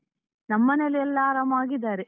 ನಮ್ಮನೇಲಿ ಎಲ್ಲ ಆರಾಮಾವಾಗಿ ಇದಾರೆ.